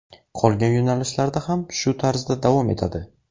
Qolgan yo‘nalishlarda ham shu tarzda davom etadi.